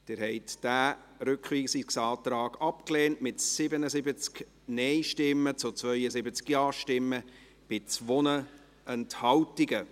Sie haben diesen Rückweisungsantrag abgelehnt, mit 77 Nein- zu 72 Ja-Stimmen bei 2 Enthaltungen.